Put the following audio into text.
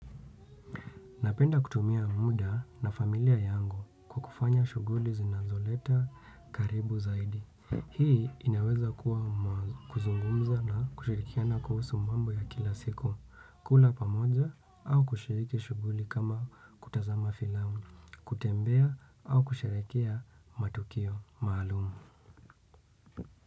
Napenda kutumia muda na familia yangu kufanya shughuli zinazotuleta karibu zaidi. Hii inaweza kuwa kuzungumza na kushirikiana kuhusu mambo ya kila siku, kula pamoja au kushiriki shughuli kama kutazama filamu, kutembea au kusheherekea matukio maalumu.